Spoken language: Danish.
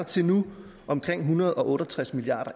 til nu omkring en hundrede og otte og tres milliard